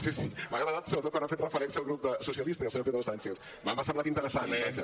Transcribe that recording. sí sí m’ha agradat sobretot quan ha fet referència al grup socialistes i al senyor pedro sánchez m’ha semblat interessant vaja